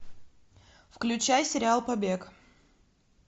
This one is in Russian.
включай сериал побег